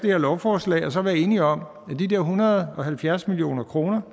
her lovforslag og så være enige om at de der en hundrede og halvfjerds million kroner